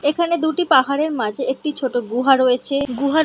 এখানে দুটি পাহাড়ের মাঝে একটি ছোট গুহা রয়েছে। গুহার --